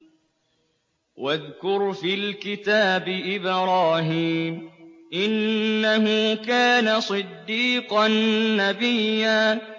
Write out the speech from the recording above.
وَاذْكُرْ فِي الْكِتَابِ إِبْرَاهِيمَ ۚ إِنَّهُ كَانَ صِدِّيقًا نَّبِيًّا